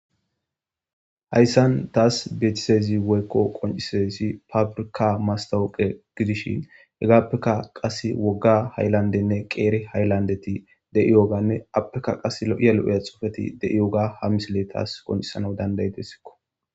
Hayssan taas beetizaysi woykko qoncizaysi pabirka mastawoqe gidishi hegaappeka qase wogga haylandenne qeeri hayllandeti de'iyooganne appeka qas lo'iya lo'iya xufeti de'iyoga ha misile taas qoncisanaw dandaydessikko